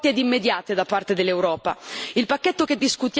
Servono risposte forti ed immediate da parte dell'Europa.